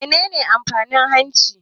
Menene amfanin hanci?